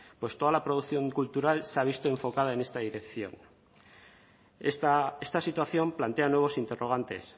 pues toda la producción cultural se ha visto enfocada en esta dirección esta situación plantea nuevos interrogantes